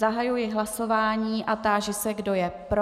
Zahajuji hlasování a táži se, kdo je pro.